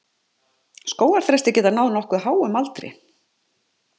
Skógarþrestir geta náð nokkuð háum aldri.